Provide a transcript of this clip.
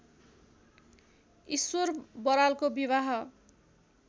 ईश्वर बरालको विवाह